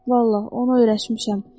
Vallah, onu öyrəşmişəm.